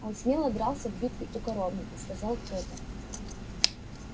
он смело дрался в битве у коровника сказал кто-то